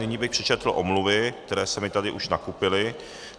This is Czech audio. Nyní bych přečetl omluvy, které se mi už tady nakupily.